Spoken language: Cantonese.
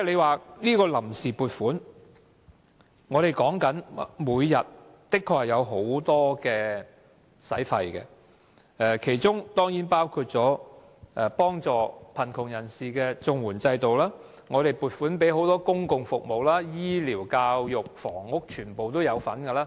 關於臨時撥款，政府每天的確有很多開支，其中當然包括幫助貧窮人士的綜合社會保障援助，公共服務，醫療、教育、房屋等。